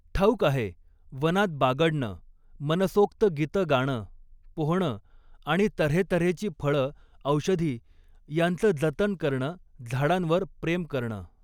ठाऊक आहे, वनात बागडणं, मनसोक्त गीतं गाणं, पोहणं आणि त हेत हेची फळं औषधी यांच जतन करणं, झाडांवर प्रेम करणं.